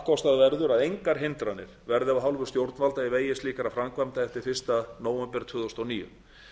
kísilflöguframleiðslu kappkostað verður að engar hindranir verði af hálfu stjórnvalda í vegi slíkra framkvæmda eftir fyrsta nóvember tvö þúsund og níu